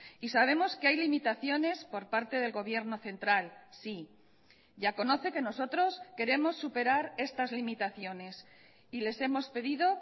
y sabemos que hay limitaciones por parte del gobierno central sí ya conoce que nosotros queremos superar estas limitaciones y les hemos pedido